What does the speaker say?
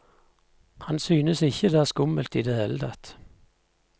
Han synes ikke det er skummelt i det hele tatt.